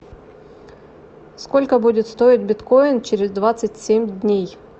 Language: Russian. сколько будет стоить биткоин через двадцать семь дней